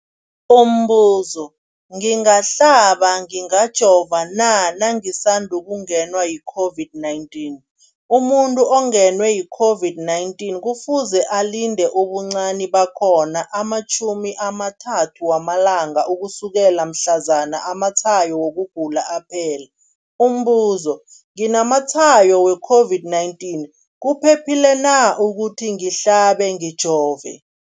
Umbuzo, ngingahlaba, ngingajova na nangisandu kungenwa yi-COVID-19? Umuntu ongenwe yi-COVID-19 kufuze alinde ubuncani bakhona ama-30 wama langa ukusukela mhlazana amatshayo wokugula aphela. Umbuzo, nginamatshayo we-COVID-19, kuphephile na ukuthi ngihlabe, ngijove?